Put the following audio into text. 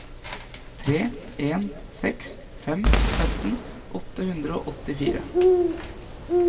tre en seks fem sytten åtte hundre og åttifire